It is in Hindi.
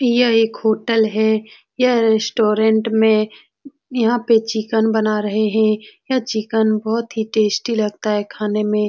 यह एक होटल है यह रेस्टोरेंट में यहाँ पे चिकन बना रहे हैं यह चिकन बहुत ही टेस्टी लगता है खाने में।